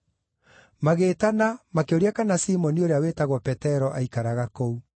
Magĩĩtana, makĩũria kana Simoni ũrĩa wĩtagwo Petero aaikaraga kũu.